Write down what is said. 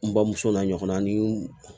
N bamuso n'a ɲɔgɔnna ni